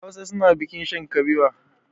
Hausa suna bikin shan kabewa.